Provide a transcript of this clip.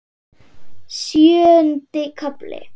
Sjöundi kafli